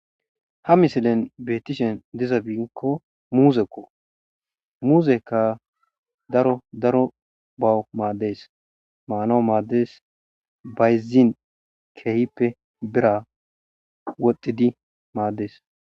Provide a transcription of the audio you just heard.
ha misilen beetishen dizabiinkko muuzekko muzekka daro daro bawu maaddees maanaw maaddes bayzin keehippe bira wodhxidi maaddees